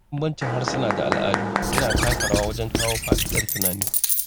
Bambancin harsuna da al’adu yana taka rawa wajen kawo faɗaɗar tunani.